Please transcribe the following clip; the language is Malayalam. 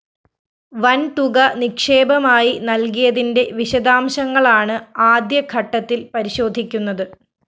വന്‍ തുക നിക്ഷേപമായി നല്‍കിയതിന്റെ വിശദാംശങ്ങളാണ് ആദ്യ ഘട്ടത്തില്‍ പരിശോധിക്കുന്നത്